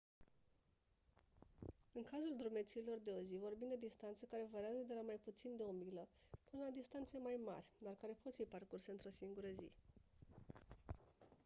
în cazul drumețiilor de o zi vorbim de distanțe care variază de la mai puțin de o milă până la distanțe mai mari dar care pot fi parcurse într-o singură zi